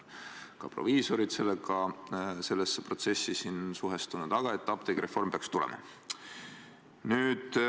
Ka proviisorid on sellesse protsessi suhestunud, aga apteegireform peaks tulema.